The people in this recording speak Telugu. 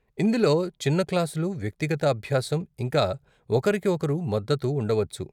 ఇందులో చిన్న క్లాసులు, వ్యక్తిగత అభ్యాసం, ఇంకా ఒకరికి ఒకరు మద్దతు ఉండవచ్చు.